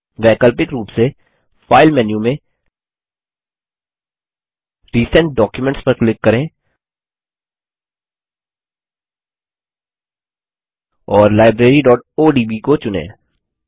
वैकल्पिक रूप से फाइल मेन्यू मैं रिसेंट डॉक्यूमेंट्स पर क्लिक करें और libraryओडीबी को चुनें